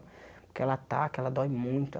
Porque ela ataca, ela dói muito.